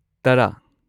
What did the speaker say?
ꯇꯔꯥ